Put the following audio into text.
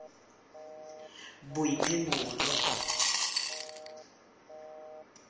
boiphemelo